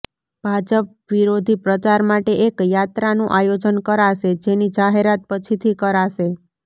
ભાજપવિરોધી પ્રચાર માટે એક યાત્રાનું આયોજન કરાશે જેની જાહેરાત પછીથી કરાશે